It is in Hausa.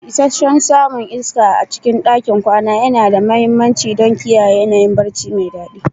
Isasshen samun iska a cikin ɗakin kwana yana da mahimmanci don kiyaye yanayin barci mai daɗi.